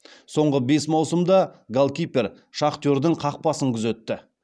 соңғы бес маусымда голкипер шахтердің қақпасын күзетті